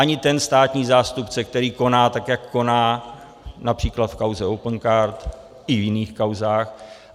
Ani ten státní zástupce, který koná tak, jak koná, například v kauze Opencard i v jiných kauzách.